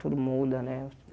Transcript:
Tudo muda, né?